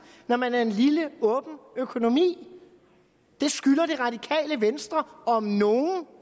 når man er en lille åben økonomi det skylder det radikale venstre om nogen